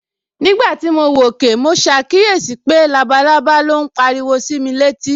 Nígbà tí mo wòkè, mo ṣàkíyèsí pé labalábá ló ń pariwo sí mi létí